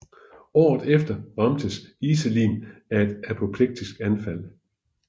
Året efter ramtes Iselin af et apoplektisk anfald